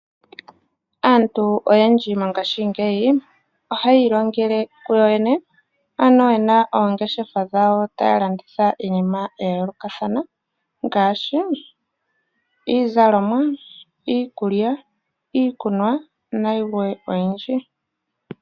Aantu oyendji mongashingeyi ohayi ilongele kuyoyene. Ano yena oongeshefa dhawo taya landitha iinima ya yoolokathana ngaashi iizalomwa, iikulya, iikunwa nayilwe oyindji.